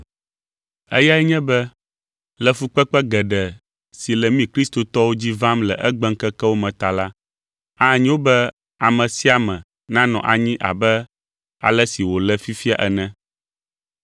Eyae nye be, le fukpekpe geɖe si le mí kristotɔwo dzi vam le egbeŋkekewo me ta la, anyo be ame sia ame nanɔ anyi abe ale si wòle fifia ene.